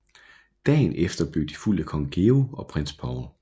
Dagen efter blev de fulgt af Kong Georg og Prins Paul